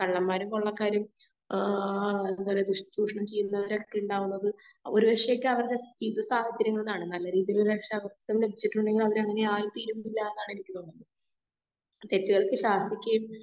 ഈ കള്ളന്മാരും കൊള്ളക്കാരും ആഹ് അതുപോലെ സിസ്‌ട്യൂഷൻ ചെയ്യുന്നവരുടെയൊക്ക ഇണ്ടാവുന്നത് ഒരു പക്ഷെ അവരുടെ സാഹചര്യങ്ങളിൽ നിന്നാണ്. നല്ല രീതിയിലൊരു രക്ഷ അവർക്ക് ലഭിച്ചിട്ടുണ്ടെങ്കിൽ അവരങ്ങനെ ആയി തീരൂലന്നാണ് എനിക്ക് തോന്നുന്നത്. കുട്ടികൾക്ക് സാഹിത്യവും